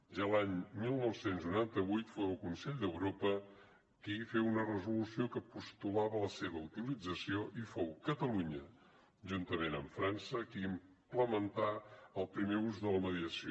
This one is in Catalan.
ja l’any dinou noranta vuit fou el consell d’europa qui feu una resolució que postulava la seva utilització i fou catalunya juntament amb frança qui implementà el primer ús de la mediació